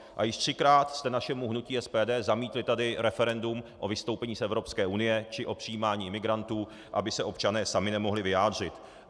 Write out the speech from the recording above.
A již třikrát jste našemu hnutí SPD zamítli tady referendum o vystoupení z Evropské unie či o přijímání imigrantů, aby se občané sami nemohli vyjádřit.